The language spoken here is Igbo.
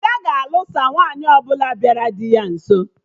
Ada ga-anụsa nwaanyị ọbụla bịara dị ya nso